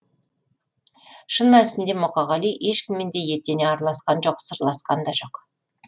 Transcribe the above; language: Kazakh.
шын мәнісінде мұқағали ешкіммен де етене араласқан жоқ сырласқан да жоқ